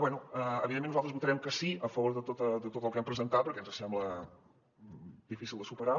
bé evidentment nosaltres votarem que sí a favor de tot el que han presentat perquè ens sembla difícil de superar